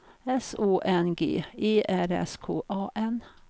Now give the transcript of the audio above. S Å N G E R S K A N